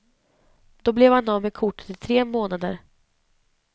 Då blev han av med kortet i tre månader.